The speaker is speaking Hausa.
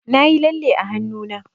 Nayi lalle a hannuna.